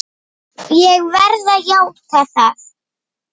Ég verð að játa það!